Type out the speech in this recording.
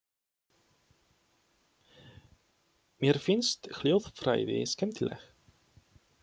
Mér finnst hljóðfræði skemmtileg.